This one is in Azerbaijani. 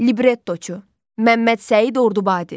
Librettoçu: Məmməd Səid Ordubadi.